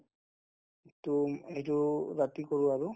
to এইটো ৰাতি কৰো আৰু